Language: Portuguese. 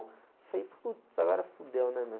Falei, putz, agora fudeu, né, meu?